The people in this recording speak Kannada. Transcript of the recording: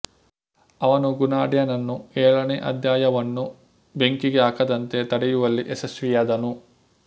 ಅವನು ಗುಣಾಢ್ಯನನ್ನು ಏಳನೇ ಅಧ್ಯಾಯವನ್ನು ಬೆಂಕಿಗೆ ಹಾಕದಂತೆ ತಡೆಯುವಲ್ಲಿ ಯಶಸ್ವಿಯಾದನು